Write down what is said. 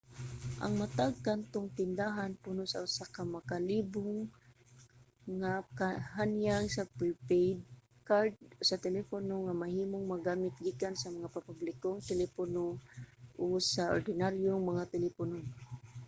ang matag kantong tindahan puno sa usa ka makalibog nga han-ay sa mga pre-paid card sa telepono nga mahimong magamit gikan sa mga pampublikong telepono o sa ordinaryong mga telepono